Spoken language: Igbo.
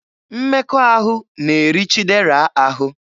Mmekọahụ na-eri Chidera ahụ.